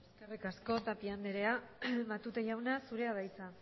eskerrik asko tapia andrea matute jauna zurea da hitza